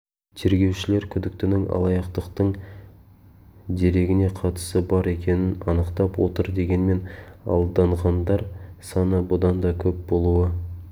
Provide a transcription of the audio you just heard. тергеушілер күдіктінің алаяқтықтың дерегіне қатысы бар екенін анықтап отыр дегенмен алданғандар саны бұдан да көп болуы